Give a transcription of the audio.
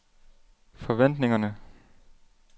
forventningerne